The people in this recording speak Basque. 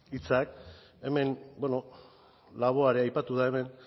hitzak hemen bueno laboa ere aipatu da hemen